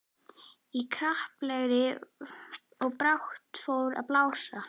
Í kraparegni, og brátt fór að blása.